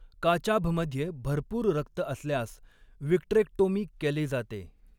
काचाभमध्ये भरपूर रक्त असल्यास विट्रेक्टोमी केली जाते.